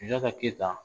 Sunjata keyita